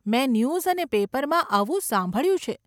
મેં ન્યૂઝ અને પેપરમાં આવું સાંભળ્યું છે.